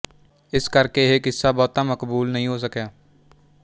ਇਸ ਕਰਕੇ ਇਹ ਕਿੱਸਾ ਬਹੁਤਾ ਮਕਬੂਲ ਨਹੀਂ ਹੋ ਸਕਿਆ